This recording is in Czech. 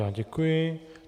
Já děkuji.